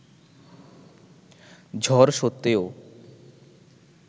ঝড় স্বত্ত্বেও